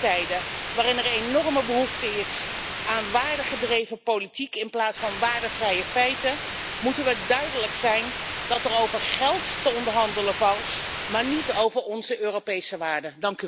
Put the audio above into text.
Zeker in tijden waarin er enorme behoefte is aan waardegedreven politiek in plaats van waardevrije feiten, moeten we duidelijk zijn dat er over geld te onderhandelen valt, maar niet over onze Europese waarden.